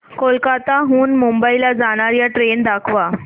कोलकाता हून मुंबई ला जाणार्या ट्रेन दाखवा